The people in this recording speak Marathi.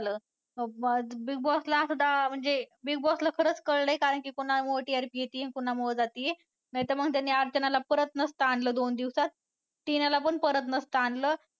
Big Boss ला सुद्धा म्हणजे Big Boss खरंच कळलंय कारण की TRP कुणामुळं येतीये आणि कुणामुळे जातीये नाहीतर मग त्यांनी अर्चनाला परत नसतं आणलं दोन दिवसात टिनाला पण परत नसतं आणलं.